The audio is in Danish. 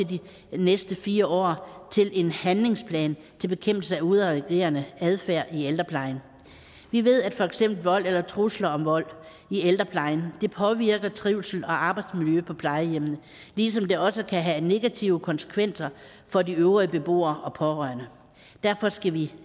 de næste fire år til en handlingsplan til bekæmpelse af udadreagerende adfærd i ældreplejen vi ved at for eksempel vold eller trusler om vold i ældreplejen påvirker trivsel og arbejdsmiljø på plejehjemmene ligesom det også kan have negative konsekvenser for de øvrige beboere og pårørende derfor skal vi